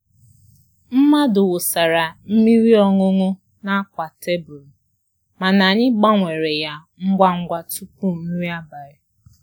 Mmadụ wụsara mmiri ọṅụṅụ n'akwa tebul, mana anyị gbanwere ya ngwa ngwa tupu nri abalị.